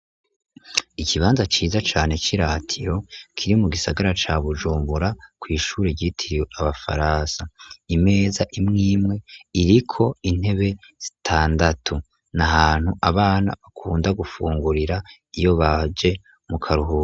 Ikibanza ciza cane cy'iratiro kiri mu gisagara ca Bujumbura, kw'ishure ryitiriwe abafaransa, imeza imwimwe iriko intebe zitandatu, n'ahantu abana bakunda gufungurira iyo baje mu karuhuko.